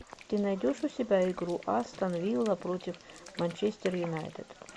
ты найдешь у себя игру астон вилла против манчестер юнайтед